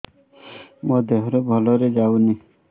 ମୋ ଦିହରୁ ଭଲରେ ଯାଉନି